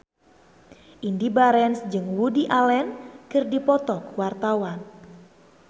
Indy Barens jeung Woody Allen keur dipoto ku wartawan